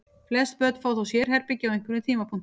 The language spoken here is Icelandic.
Flest börn fá þó sérherbergi á einhverjum tímapunkti.